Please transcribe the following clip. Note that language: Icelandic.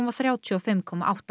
þrjátíu og fimm komma átta